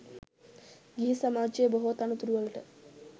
ගිහි සමාජයේ බොහෝ තනතුරුවලට